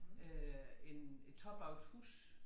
Øh en en top af et hus